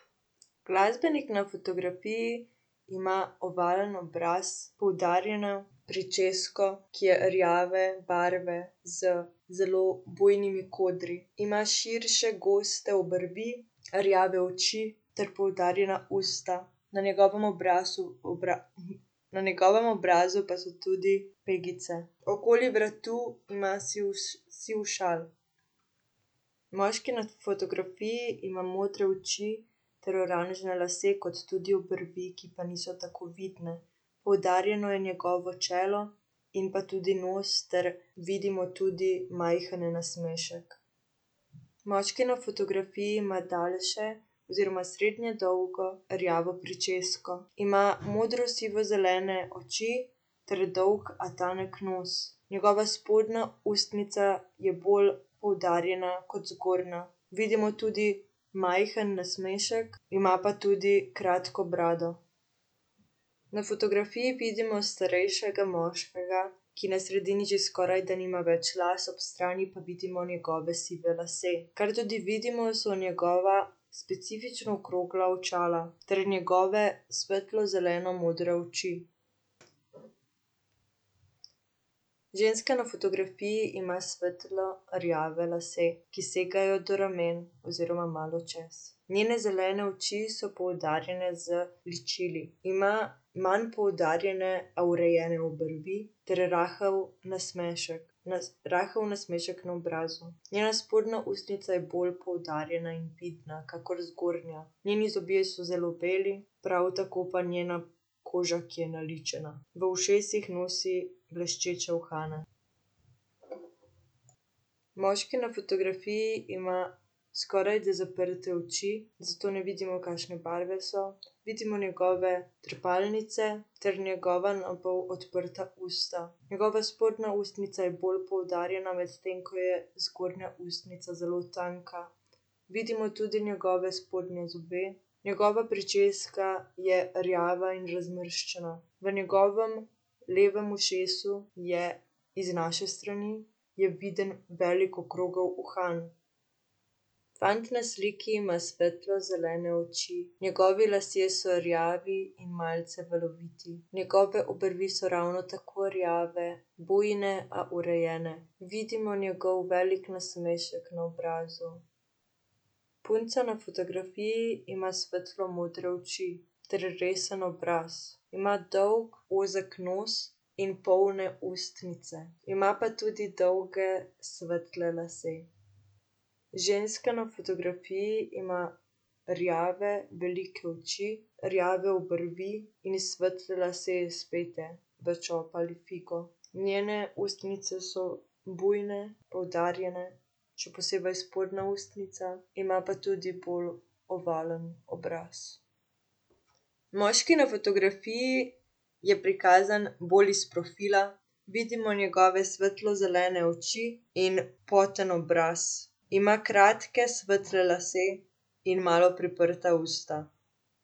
Glasbenik na fotografiji ima ovalen obraz, poudarjeno pričesko, ki je rjave barve z zelo bujnimi kodri. Ima širše, goste obrvi, rjave oči ter poudarjena usta. Na njegovem obrazu, na njegovem obrazu pa so tudi pegice. Okoli vratu ima siv siv šal. Moški na fotografiji ima modre oči ter oranžne lase kot tudi obrvi, ki pa niso tako vidne. Poudarjeno je njegovo čelo in pa tudi nos ter vidimo tudi majhen nasmešek. Moški na fotografiji ima daljše oziroma srednje dolgo rjavo pričesko. Ima modro-sivo-zelene oči ter dolg, a tanek nos. Njegova spodnja ustnica je bolj poudarjena kot zgornja. Vidimo tudi majhen nasmešek, ima pa tudi kratko brado. Na fotografiji vidimo starejšega moškega, ki na sredini že skorajda nima več las, ob strani pa vidimo njegove sive lase. Kar tudi vidimo, so njegova specifično okrogla očala ter njegove svetlo zelenomodre oči. Ženska na fotografiji ima svetlo rjave lase, ki segajo do ramen oziroma malo čez. Njene zelene oči so poudarjene z ličili. Ima manj poudarjene, a urejene obrvi ter rahel nasmešek. rahel nasmešek na obrazu. Njena spodnja ustnica je bolj poudarjena in vidna kakor zgornja. Njeni zobje so zelo beli, prav tako pa njena koža, ki je naličena. V ušesih nosi bleščeče uhane. Moški na fotografiji ima skorajda zaprte oči, zato ne vidimo, kakšne barve so. Vidimo njegove trepalnice ter njegova na pol odprta usta. Njegova spodnja ustnica je bolj poudarjena, medtem ko je zgornja ustnica zelo tanka. Vidimo tudi njegove spodnje zobe, njegova pričeska je rjava in razmršena. V njegovem levem ušesu je, iz naše strani, je viden velik okrogel uhan. Fant na sliki ima svetlo zelene oči. Njegovi lasje so rjavi in malce valoviti. Njegove obrvi so ravno tako rjave. Bujne, a urejene. Vidimo njegov velik nasmešek na obrazu. Punca na fotografiji ima svetlo modre oči ter resen obraz. Ima dolg ozek nos in polne ustnice. Ima pa tudi dolge svetle lase. Ženska na fotografiji ima rjave velike oči, rjave obrvi in svetle lase, spete v čop ali figo. Njene ustnice so bujne, poudarjene, še posebej spodnja ustnica. Ima pa tudi bolj ovalen obraz. Moški na fotografiji je prikazan bolj iz profila. Vidimo njegove svetlo zelene oči in poten obraz. Ima kratke svetle lase in malo priprta usta.